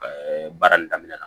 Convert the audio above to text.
baara in daminɛ na